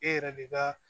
E yɛrɛ de ka